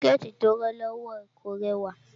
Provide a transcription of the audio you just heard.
Síkẹ̀tí tí ó rán lọ́wọ́ ẹ̀ kò rẹwà